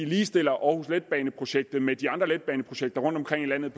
ligestiller aarhus letbane projektet med de andre letbaneprojekter rundtomkring i landet